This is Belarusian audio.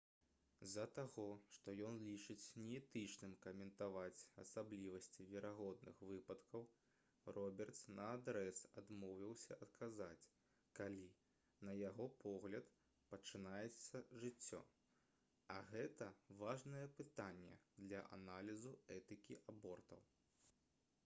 з-за таго што ён лічыць неэтычным каментаваць асаблівасці верагодных выпадкаў робертс наадрэз адмовіўся адказаць калі на яго погляд пачынаецца жыццё а гэта важнае пытанне для аналізу этыкі абортаў